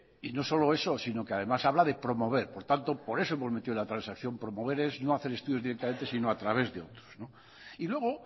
y no solo eso sino que además habla de promover por tanto por eso hemos metido la transacción promover es no hacer estudios directamente si no a través de otros y luego